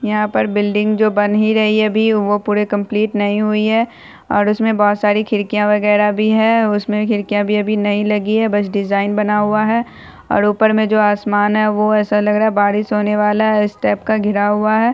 यहाँ पर बिल्डिंग जो बन ही रही है अभी वो पूरे कंप्लीट नहीं हुई है और उसमें बहुत सारी खिड़कियाँ वगैरा भी है उसमें खिड़कियाँ भी अभी नहीं लगी है बस डिजाइन बना हुआ है और ऊपर में जो आसमान है वो ऐसा लग रहा है बारिश होने वाला है इस टाइप का घिरा हुआ है।